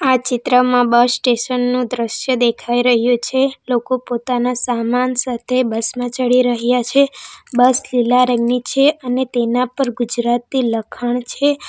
આ ચિત્રમાં bus station નું દ્રશ્ય દેખાઈ રહ્યું છે લોકો પોતાના સામાન સાથે બસ માં ચડી રહ્યા છે બસ લીલા રંગની છે અને તેના પર ગુજરાતી લખાણ છે.